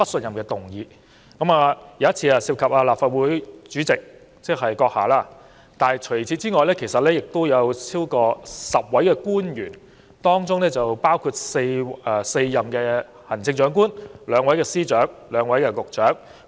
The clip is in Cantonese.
其中一次涉及立法會主席——即閣下——除此以外，亦有超過10位官員，當中包括4任行政長官、兩位司長及兩位局長。